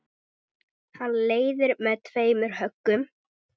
Hann leiðir með tveimur höggum.